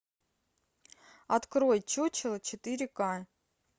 открой чучело четыре ка